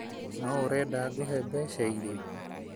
No ũrenda ngũhe mbeca iria?